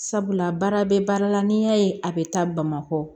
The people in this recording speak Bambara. Sabula baara bɛ baara la n'i y'a ye a bɛ taa bamakɔ